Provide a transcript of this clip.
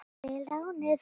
Takk fyrir lánið!